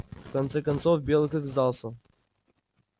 в конце концов белый клык сдался